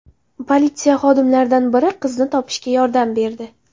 Politsiya xodimlaridan biri qizni topishga yordam berdi.